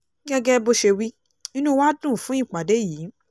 gẹ́gẹ́ bó ṣe wí inú wa dùn fún ìpàdé yìí